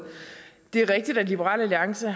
liberal alliance